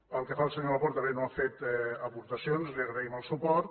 pel que fa al senyor laporta bé no ha fet aportacions li agraïm el suport